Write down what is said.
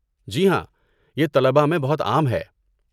جی ہاں، یہ طلباء میں بہت عام ہے۔